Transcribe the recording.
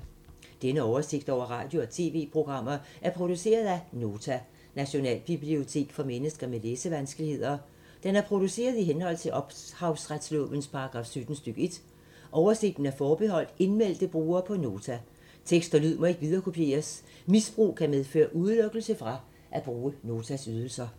Denne oversigt over radio og TV-programmer er produceret af Nota, Nationalbibliotek for mennesker med læsevanskeligheder. Den er produceret i henhold til ophavsretslovens paragraf 17 stk. 1. Oversigten er forbeholdt indmeldte brugere på Nota. Tekst og lyd må ikke viderekopieres. Misbrug kan medføre udelukkelse fra at bruge Notas ydelser.